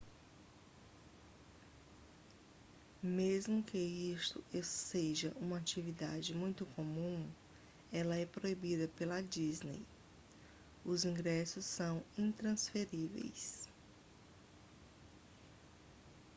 mesmo que isto seja uma atividade muito comum ela é proibida pela disney os ingressos são intransferíveis